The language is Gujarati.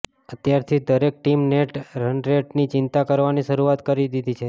અત્યારથી જ દરેક ટીમે નેટ રનરેટની ચિંતા કરવાની શરૂઆત કરી દીધી છે